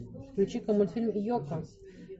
включи ка мультфильм йоко